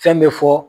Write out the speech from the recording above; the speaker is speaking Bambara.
Fɛn bɛ fɔ